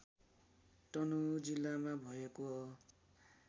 तनहुँ जिल्लामा भएको हो